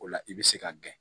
O la i bɛ se ka gɛn